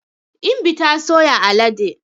Imbi ta soya alade.